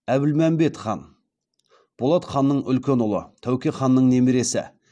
әбілмәмбет хан болат ханның үлкен ұлы тәуке ханның немересі